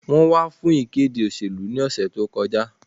Wọ́n wá fún ìkéde òṣèlú ní òsẹ̀ tí ó kọ já